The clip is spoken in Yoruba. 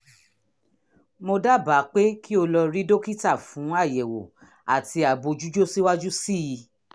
mo dábàá pé kí o lọ rí dókítà fún àyẹ̀wò àti àbójútó síwájú sí i